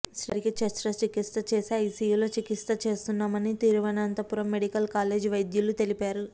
శ్రీహరికి శాస్త్ర చికిత్స చేసి ఐసీయూలో చికిత్స చేస్తున్నామని తిరువనంతపురం మెడికల్ కాలేజ్ వైద్యులు తెలిపారు